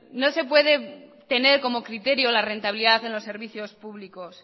no se puede tener como criterio la rentabilidad en los servicios públicos